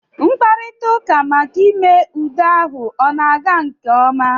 Mkparita ụka maka ime udo ahụ ọ na-aga nke ọma?